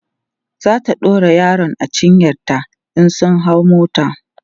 zata ɗaura yaron a cinyanta in sun hau mota